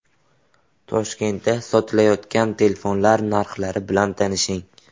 Toshkentda sotilayotgan telefonlar narxlari bilan tanishing.